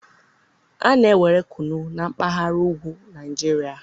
a na-ewere kunu na mpaghara ugwu Naijiria